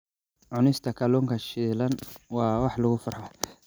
Cunista kalluunka shiilan waa wax lagu farxo.